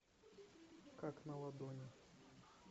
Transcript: как на ладони